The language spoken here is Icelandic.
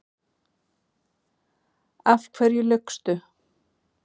Af hverju laugstu?